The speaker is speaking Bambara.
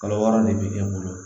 Kalo wɔɔrɔ de bɛ e bolo